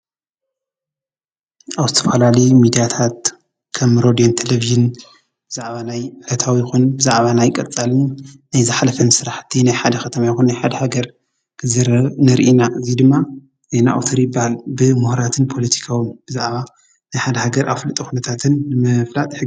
ኣብ ዝተፈላለዩ ሚድያታት ከም ሬድዮን ቴሌቭጅንን ብዛዕባ ዕለታዊ ይኹን ብዛዕባ ናይ ቀፃልን ናይ ዝሓለፈን ስራሕቲ ናይ ሓደ ከተማ ይኹን ናይ ሓደ ሃገር ክዝረብ ንርኢ ኢና። እዚ ድማ ዜና ኣውታሪ ይበሃል። ብሙሁራትን ፖለቲካውን ብዛዕባ ናይ ሓደ ሃገር ኣፍልጦ ኩነታትን ንምፍላጥ ይሕግዝ።